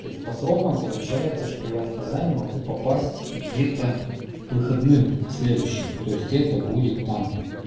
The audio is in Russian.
то есть по срокам получается что я в казань могу попасть где-то к выходным следующем то есть это будет там